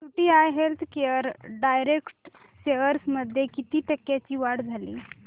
UTI healthcare direct shares मध्ये किती टक्क्यांची वाढ झाली